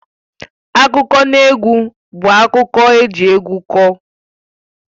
Akụkọnaegwu bụ akụkọ eji egwu kọọ